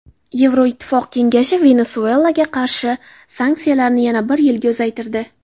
Yevroittifoq kengashi Venesuelaga qarshi sanksiyalarni yana bir yilga uzaytirdi.